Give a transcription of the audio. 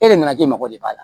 E yɛrɛ nana ji mago de b'a la